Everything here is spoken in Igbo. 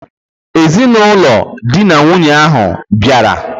Ezinụlọ di na nwunye ahụ hà bịara?